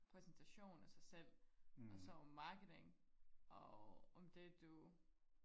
præsentation af sig selv og så om marketing og om det du